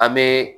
An bɛ